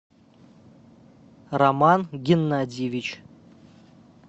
роман геннадьевич